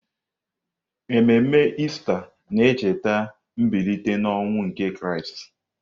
Ememe Ista na-echeta mbilite n'ọnwụ nke Kraịst.